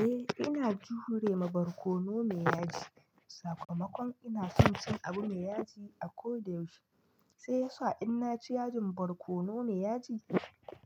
Eh ina jure ma barkono me yaji, sakamakon ina son cin abu me yaji a koda yaushe, sai yasa in naci yajin barkono me yaji